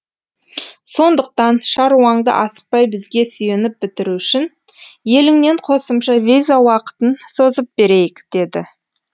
сондықтан шаруаңды асықпай бізге сүйеніп бітіру үшін еліңнен қосымша виза уақытын созып берейік деді